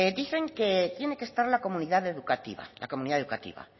dicen que tiene que estar la comunidad educativa la comunidad educativa